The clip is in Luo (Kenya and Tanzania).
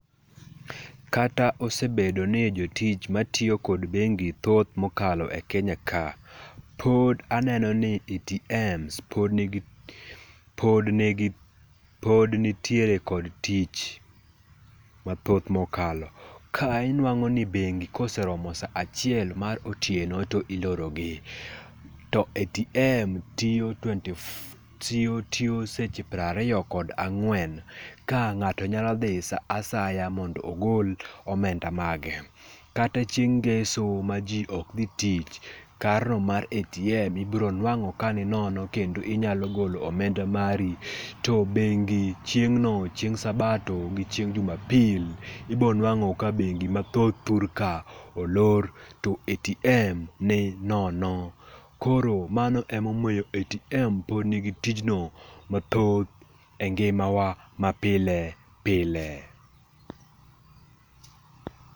Kata osebedo ni jotich matiyo kod bengi thoth mokalo e Kenya ka, pod aneno ni ATMs pod nigi pod nigi pod nitiere kod tich mathoth mokalo. Ka inuang'o ni bengi koseromo saa achiel mar otieno to iloro gi. To ATM tiyo twenty four tiyo tiyo seche piero ariyo kod ang'wen. Ka ng'ato nyalo dhi sa asaya mondo ogol omenda mage. Kata chieng' ngeso maji ok dhi tich, kareno mar ATM ibiro nuang'o ka ninono kendo inyalo golo omenda mari. To bengi chieng' no chieng' sabato gi chieng' jumapil ibonuang'o ka bengi mathoth thur ka olor to ATM ni nono. Koro mano emomiyo ATM pod nigi tijno mathoth engimawa ma pile pile.